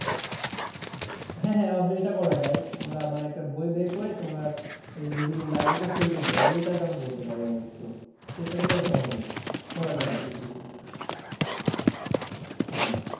হ্যাঁ হ্যাঁ অবশ্য এটা করা যায় মানে একটা বই বের করে তারপরে তোমার বিভিন্ন library তে sell করতে পারি এই কাজটা আমরা করতে পারি অবশ্য চেষ্টা করলে অবশ্য গবে করা যাবে হ্যাঁ।